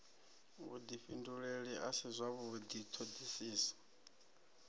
vhudifhinduleli a si zwavhudi thodisiso